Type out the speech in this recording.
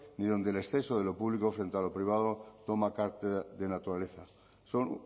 ni donde el exceso de lo público frente a lo privado toma de naturaleza son